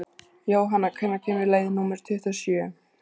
Jónanna, hvenær kemur leið númer tuttugu og sjö?